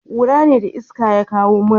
kura ne da iska ya kawo mura